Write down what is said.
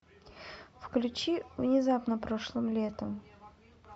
включи внезапно прошлым летом